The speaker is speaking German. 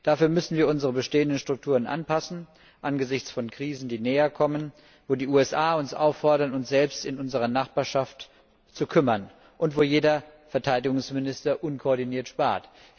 Dafür müssen wir unsere bestehenden Strukturen anpassen angesichts von Krisen, die näherkommen, wo die USA uns auffordern, uns selbst in unserer Nachbarschaft zu kümmern, und wo jeder Verteidigungsminister unkoordiniert spart.